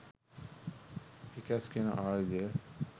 Pickaxe කියන ආයුධය.